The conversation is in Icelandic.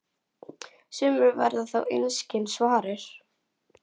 Sumir verða þó einskis varir.